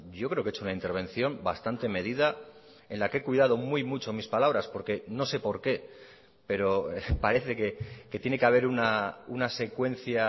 yo creo que he hecho una intervención bastante medida en la que he cuidado muy mucho mis palabras porque no sé por qué pero parece que tiene que haber una secuencia